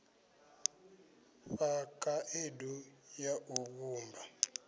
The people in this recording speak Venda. fha khaedu ya u vhumba